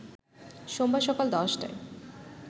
সোমবার সকাল ১০টায়